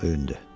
Öyündü.